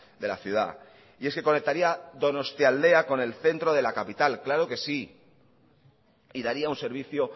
de la ciudad y es que conectaría donostialdea con el centro de la capital claro que sí y daría un servicio